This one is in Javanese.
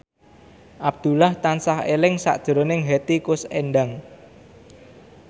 Abdullah tansah eling sakjroning Hetty Koes Endang